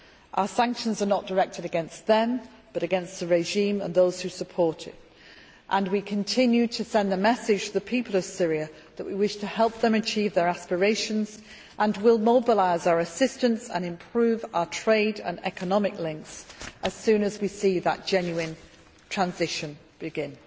Our sanctions are not directed against them but against the regime and those who support it, and we continue to send a message to the people of Syria that we wish to help them achieve their aspirations and will mobilise our assistance and improve our trade and economic links as soon as we see that genuine transition begin.